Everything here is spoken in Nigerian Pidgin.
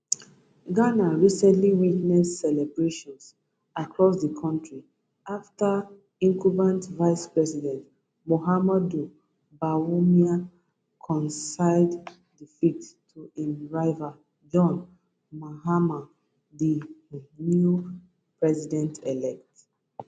ghana recently witness celebrations across di kontri afta incumbent vicepresident mahamudu bawumia concede defeat to im rival john mahama di new presidentelect